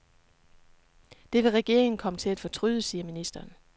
Det vil regeringen komme til at fortryde, siger ministeren.